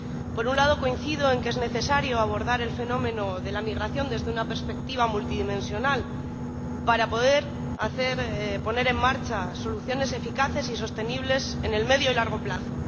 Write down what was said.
Por un lado, coincido en que es necesario abordar el fenómeno de la migración desde una perspectiva multidimensional para poder poner en marcha soluciones eficaces y sostenibles a medio y largo plazo.